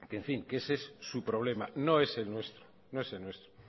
en fin ese es su problema no es el nuestro